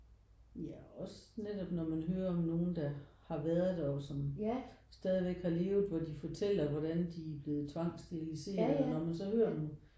Ja også netop når man hører om nogen der har været der og som stadigvæk har levet hvor de fortæller hvordan de er blevet tvangssteriliseret når man så hører dem